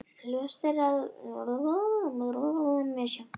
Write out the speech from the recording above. Ljóst er að verð á gjöfum í skóinn getur verið mjög misjafnt.